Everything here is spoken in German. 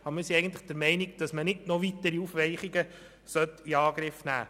Aber unseres Erachtens sollte man nicht noch weitere Aufweichungen in Angriff nehmen.